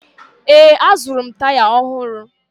Ee, azụrụ m taya ọhụrụ